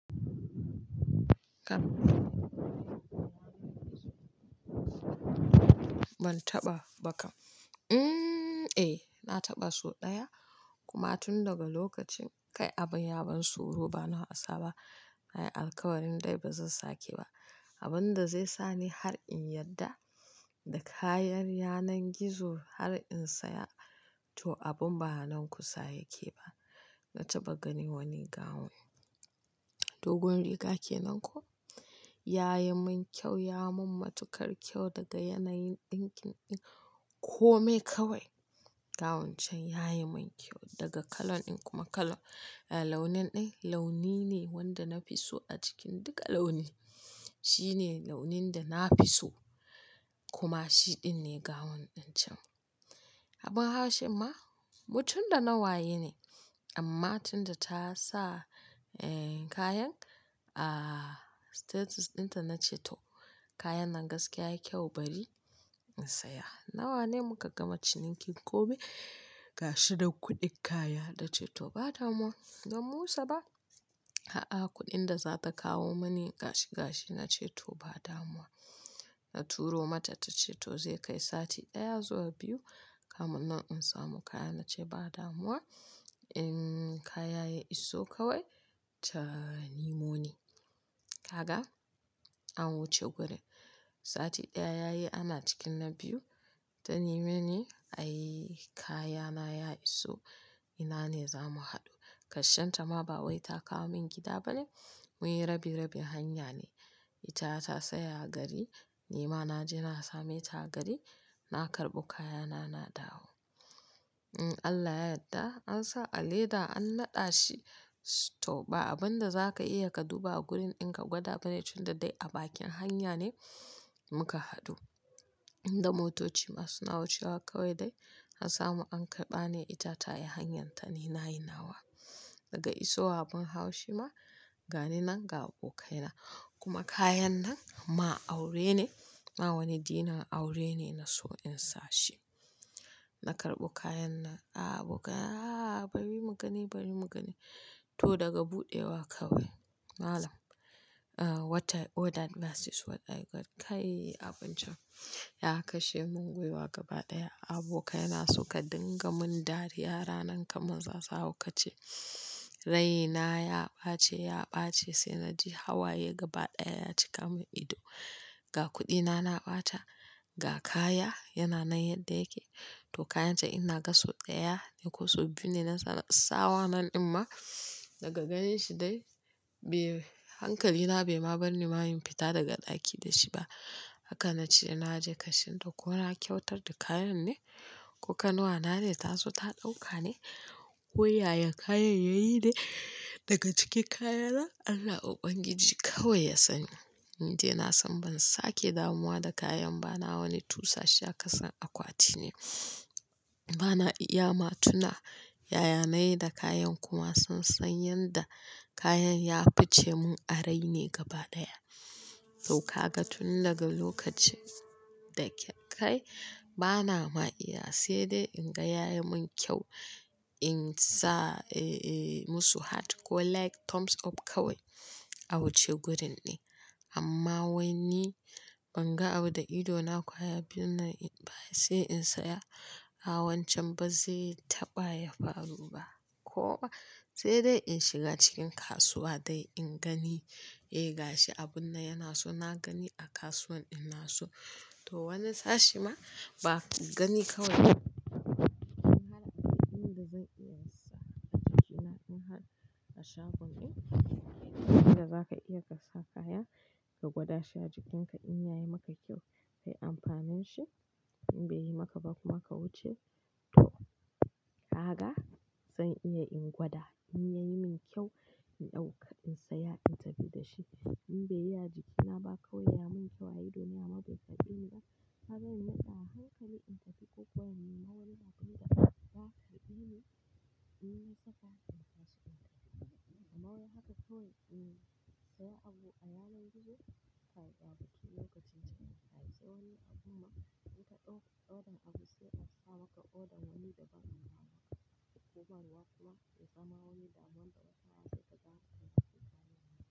Kam ban taɓa ba kam. Umm, eh, na taɓa so ɗaya kuma tun daga lokacin kai abin ya ban tsoro bana hasa ba. Na yi alkawarin dai ba zan sake ba. Abin da zai sa ni har in yarda da kayan yanar gizo har in saya to abin ba nan kusa yake ba. Na taɓa gani wani gown, dogon riga ke nan ko? Ya yi min kyau, ya mun matukar kyau daga yanayin ɗinkin in kome kawai. Gawun can ya yi min kyau daga kalan in kuma kalan, eh launin in launi ne wanda na fi so a cikin duka launi. Shi ne launin da na fi so kuma shiɗin ne gown ɗin can. Abin haushi ma, mutun da na waye ne amma tunda ta sa, eh, kayan, ah, status ɗinta na ce to kayan nan gaskiya ya yi kyau bari in saya. Nawa ne muka gama cinikin kome gashi da kuɗin kaya? Na ce to ba damuwa, zan musa ba. A'a, kuɗin da za ta kawo mani gashi gashi na ce to ba damuwa. Na turo mata ta ce to zai kai sati ɗaya zuwa biyu kamin nan in samu kaya. Na ce ba damuwa in kaya ya iso kawai ta niimo ni. Kaga, an wuce gurin. Sati ɗaya yayi ana cikin na biyu ta neme ni, "Ai, kaya na ya iso ina ne za mu haɗu?" Kar shanta ma ba wai ta kawo min gida bane muyi rabi-rabin hanya ne. Ita ta tsaya gari ni ma na je na same ta gari na karɓi kayana na dawo. In Allah ya yarda an sa a leda an naɗa shi to ba abin da za ka iya ka duba a gurin in ka gwada bane tunda dai a bakin hanya ne muka haɗu. Inda motoci ma suna wucewa kawai dai. An samu an karɓa ne ita ta yi hanyarta ni na yi nawa. Daga isowa abin haushi ma, gani nan ga abokaina kuma kayan nan ma aure ne. Ma wani dinner aure ne na so in sashi. Na karɓo kayan nan, a abokai a bari mu gani bari mu gani. To daga buɗewa kawai malam, uh, what I ordered versus what I got. Kai abin can ya kashe mun gwiwa gaba ɗaya. Abokai na suka dinga mun dariya ranan kamar za su haukace. Raina ya ɓace ya ɓace sai na ji hawaye gaba ɗaya ya cika mun ido. Ga kuɗi na na ɓata, ga kaya yana nan yadda yake. To kayan can in na ga so ɗaya ko so biyu ne na sawa nan din ma daga ganin shi dai, be hankali na bai ma bar ni ma in fita daga ɗaki da shi ba. Haka na ce na ji karshenta ko na kyautar da kayan ne ko kannuwana ne ta zo ta ɗauka ne ko yaya kayan yayi ne daga cikin kayana Allah Ubangiji kawai ya sani. Ni dai na san ban sake damuwa da kayan ba na wani tusa shi a kasan akwati ne. Ba na iya ma tuna yaya na yi da kayan kuma sun san yanda kayan ya face mun a rai ne gaba ɗaya. To kaga tun daga lokacin da ke kai ba na ma iya sai dai in ga ya yi min kyau in sa, eh, eh, musu heart ko like thumbs up kawai a wuce gurin ne. Amma wai ni ban ga abin da idona kwaya biyun nan in ba sai in saya a wancan ba zai taɓa yafaru ba. Ko sai dai in shiga cikin kasuwa dai in gani, eh, gashi abun nan yana so na gani a kasuwan in na so. To wani sashe ma ba gani kawai in haɗa abin da zan iya sa a jikina in har a shagon ne abin da za ka iya ka sa kaya ka gwada shi a jikinka in ya yi maka kyau kai amfanin shi in bai yi maka ba kuma ka wuce. To, kaga zan iya in gwada in ya yi min kyau in ɗauka in saya in tafi da shi. In bai yi a jikina ba kawai ya min kyau a ido ne amma bai karfe ni ba. Haka zai matsa hankali in tafi ko kuwa ni ma wani bakin dafa ba ka ɗibi in na saka in tashi in tafi. Amma wai haka kawai in saya abu a yanar gizo kai ɗabi'a lokacin can. Kai sai wani abu ma in ka order, order dan abu sai a sawa ka order dan wani dabam dama. Kuma ruwa kuwa ya samu wani damuwa da wata ya daka in saki kayana.